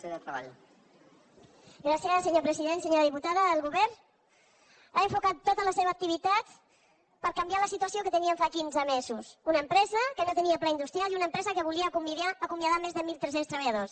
senyora diputada el govern ha enfocat tota la seva activitat per canviar la situació que teníem fa quinze mesos una empresa que no tenia pla industrial i una empresa que volia acomiadar més de mil tres cents treballadors